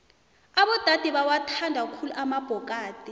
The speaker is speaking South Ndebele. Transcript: abodade bawathanda khulu amabhokadi